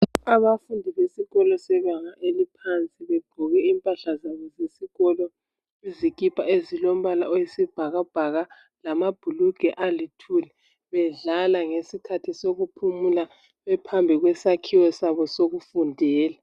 Abafundi besikolo sebanga eliphansi begqoke impahla zabo zesikolo izikipa ezilompala oyisibhakabhaka lamabhulugwa alithuli bedlala ngesikhathi sokuphumula bephambi kwesakhiwo sabo sokufundela.